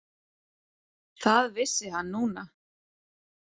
Það vissi hann núna.